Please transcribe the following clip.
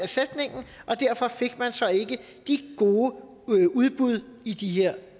sætningen og derfor fik man så ikke de gode udbud i de her